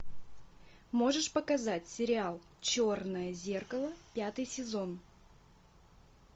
можешь показать сериал черное зеркало пятый сезон